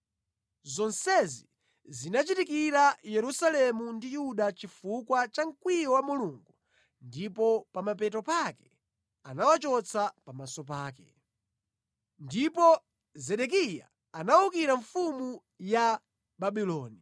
Zonsezi zinachitikira Yerusalemu ndi Yuda chifukwa cha mkwiyo wa Mulungu ndipo pa mapeto pake anawachotsa pamaso pake. Kuwonongeka kwa Yerusalemu Ndipo Zedekiya anawukira mfumu ya Babuloni.